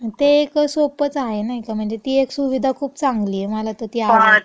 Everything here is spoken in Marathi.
अन् ते कं सोपंच आहे, नाई का? म्हणजे ती एक सुविधा खुप चांगली ये. मला तं ती आवडलीये.